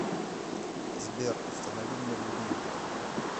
сбер установи мне будильник